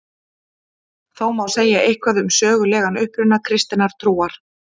Þó má segja eitthvað um sögulegan uppruna kristinnar trúar.